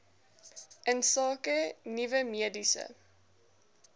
insake nuwe mediese